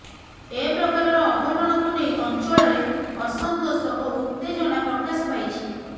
ଏ ପ୍ରକାରର ଅଘଟଣକୁ ନେଇ ଅଞ୍ଚଳରେ ଅସନ୍ତୋଷ ଓ ଉତ୍ତେଜନା ପ୍ରକାଶ ପାଇଛି